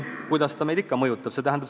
Kuidas see meid ikka mõjutab?